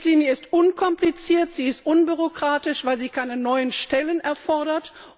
Die Richtlinie ist unkompliziert, sie ist unbürokratisch, weil sie keine neuen Stellen erfordert.